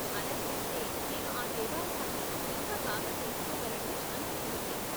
ఆలా చేస్తే నేను ఆ దేవాలయాన్ని ఇంకా బాగా తెలుసుకోగలనని అనిపిస్తోంది.